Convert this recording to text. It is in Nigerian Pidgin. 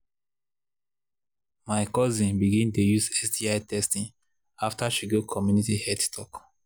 my cousin begin dey use sti testing after she go community health talk.